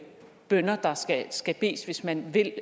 bønner der skal skal bedes hvis man vil